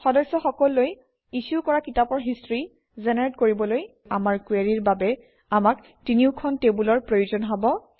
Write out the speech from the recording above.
সদস্য সকললৈ ইছ্যু কৰা কিতাপৰ হিষ্ট্ৰী জেনেৰেট কৰিবলৈ আমাৰ কুৱেৰিৰ বাবে আমাক তিনিওখন টেবুলৰ প্ৰয়োজন হব